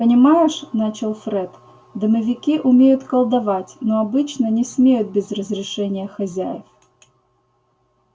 понимаешь начал фред домовики умеют колдовать но обычно не смеют без разрешения хозяев